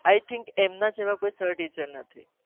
આમના જેવા કોઈ sair teacher નથી